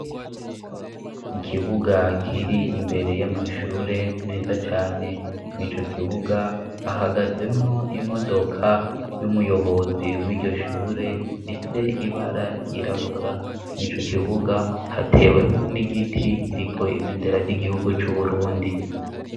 Ikibuga kiri imbere y'amashure meza cane ni co kibuga hahagazemwo imodoka y'umuyobozi w'iryoshure mfise ibara ryirabura ni co kibuga hatewemwo n'igiti kiriko ibendera ry'igihugu c'uburundi.